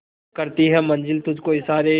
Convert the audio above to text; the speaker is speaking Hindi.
करती है मंजिल तुझ को इशारे